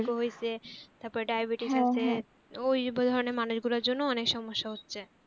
হইছে তারপর diabetes হইছে হ্যা হ্যা ওই ধরনের মানুষ গুলার জন্য অনেক সমস্যা হচ্ছে।